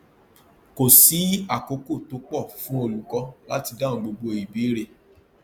kò sí àkókò tó pọ fún olùkọ láti dáhùn gbogbo ìbéèrè